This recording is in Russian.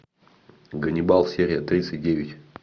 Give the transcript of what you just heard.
ганнибал серия тридцать девять